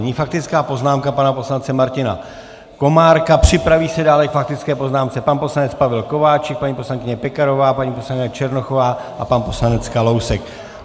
Nyní faktická poznámka pana poslance Martina Komárka, připraví se dále k faktické poznámce pan poslanec Pavel Kováčik, paní poslankyně Pekarová, paní poslankyně Černochová a pan poslanec Kalousek.